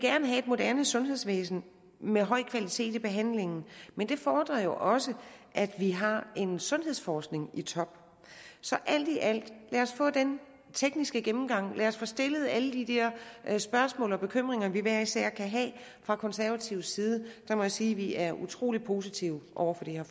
have et moderne sundhedsvæsen med høj kvalitet i behandlingen men det fordrer jo også at vi har en sundhedsforskning i top så alt i alt lad os få den tekniske gennemgang og lad os få stillet alle de der spørgsmål og bekymringer vi hver især kan have fra konservativ side må jeg sige at vi er utrolig positive over for det her